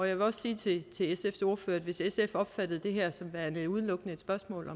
jeg vil også sige til sfs ordfører at hvis sf opfattede det her som værende udelukkende et spørgsmål